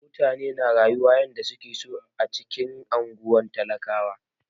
Mutane na rayuwa yanda suke so a cikin unguwar talakawa.